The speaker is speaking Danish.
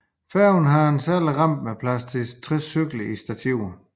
Færgen har et særligt rampe med plads til 60 cykler i stativer